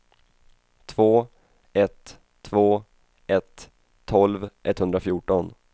två ett två ett tolv etthundrafjorton